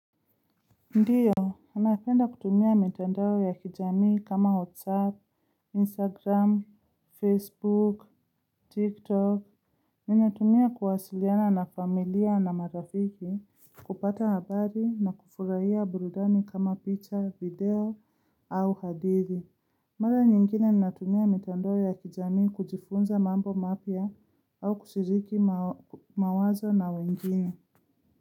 Ndiyo, napenda kutumia mitandao ya kijamii kama Whatsapp, instagram, facebook, tiktok Ninatumia kuwasiliana na familia na marafiki, kupata habari na kufurahia burudani kama picha, video au hadithi Mara nyingine ninatumia mitandao ya kijamii kujifunza mambo mapya au kushiriki mawazo na wengine.